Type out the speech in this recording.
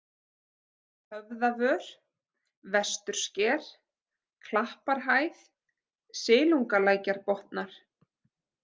Höfðavör, Vestursker, Klapparhæð, Silungalækjarbotnar